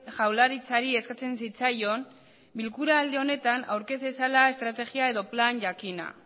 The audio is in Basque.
jaurlaritzari eskatzen zitzaion bilkura aldi honetan aurkez dezala estrategia edo plan jakin bat